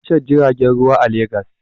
Akwai tashar jiragen ruwa a Legas.